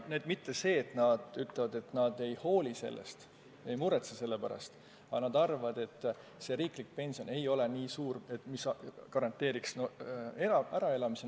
Nad ei ütle, et nad ei hooli sellest, et nad ei muretse selle pärast, aga nad arvavad, et riiklik pension ei hakka olema nii suur, et garanteeriks äraelamise.